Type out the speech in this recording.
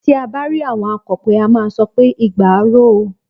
Tí à bá rí àwọn akọ̀pẹ, a máà sọ pé "igba á ro o".